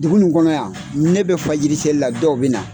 Dugu in kɔnɔ yan ne bɛ fajiriseli la dɔw bɛ na.